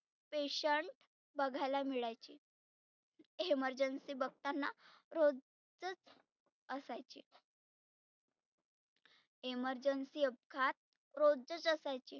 petiant बघायला मिळायचे emergency बघताना रोजचच असायचे. emergency अपघात रोजचे असायचे.